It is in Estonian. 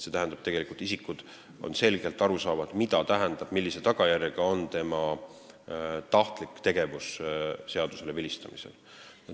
See tähendab, et isikule on selgelt aru saada, milline tagajärg on tema tahtlikul seadusele vilistamisel.